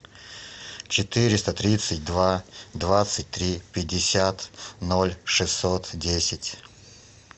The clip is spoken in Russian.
четыреста тридцать два двадцать три пятьдесят ноль шестьсот десять